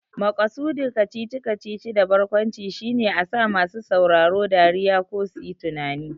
Maƙasudin kacici-kacici da barkwanci shine a sa masu sauraro dariya ko suyi tunani.